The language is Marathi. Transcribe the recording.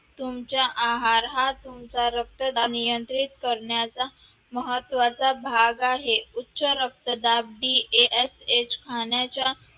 तुमचा आहार हा तुमचा रक्तदाब नियंत्रित करण्याचा महत्वाचा भाग आहे उच्च रक्तदाब DASH खाण्याच्या